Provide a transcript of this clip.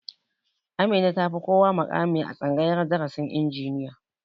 Amina ta fi kowa muƙami a tsangayar darasin injiniya